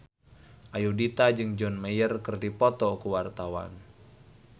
Ayudhita jeung John Mayer keur dipoto ku wartawan